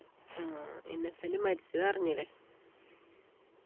ആഹ് Innocent മരിച്ചതറിഞ്ഞില്ലേ